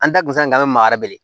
An da kun sa an bɛ maa wɛrɛ wele